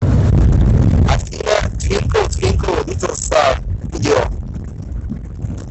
афина твинкл твинкл литл стар видео